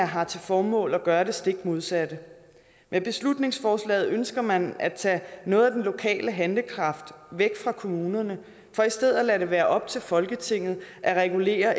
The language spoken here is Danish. har til formål at gøre det stik modsatte med beslutningsforslaget ønsker man at tage noget af den lokale handlekraft væk fra kommunerne for i stedet at lade det være op til folketinget at regulere